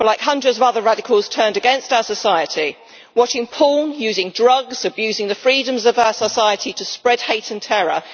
But like hundreds of other radicals, he turned against our society, watching porn, using drugs, abusing the freedoms of our society to spread hate and terror.